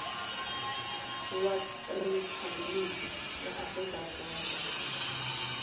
wa riphabliki ra afrika dzonga